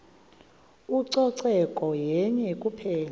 ucoceko yenye kuphela